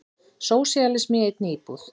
Sósíalismi í einni íbúð.